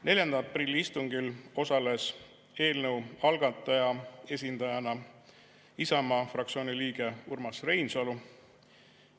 4. aprilli istungil osales eelnõu algataja esindajana Isamaa fraktsiooni liige Urmas Reinsalu.